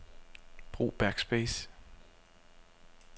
Brug backspace.